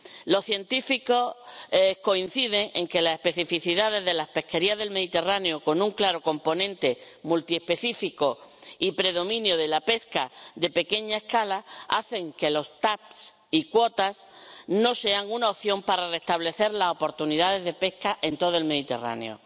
Los científicos coinciden en que la especificidad de las pesquerías del Mediterráneo, con un claro componente multiespecífico y predominio de la pesca de pequeña escala, hacen que los TAC y las cuotas no sean una opción para restablecer las oportunidades de pesca en todo el Mediterráneo.